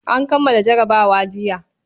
An kammala jarabawa jiya.